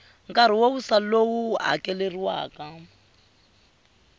nkarhi wo wisa lowu hakeleriwaka